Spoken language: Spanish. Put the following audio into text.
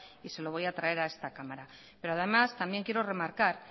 y se lo voy a traer a esta cámara pero además también quiero remarcar